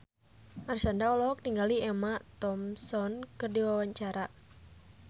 Marshanda olohok ningali Emma Thompson keur diwawancara